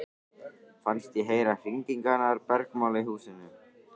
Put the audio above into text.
Fannst ég heyra hringingarnar bergmála í húsinu.